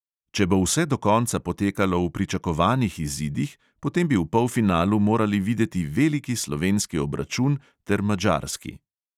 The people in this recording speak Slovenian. Če bo vse do konca potekalo v pričakovanih izidih, potem bi v polfinalu morali videti veliki slovenski obračun ter madžarski.